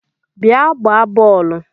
Bia gbaa bọọlụ!!